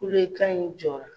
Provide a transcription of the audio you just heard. Kule kan in jɔra.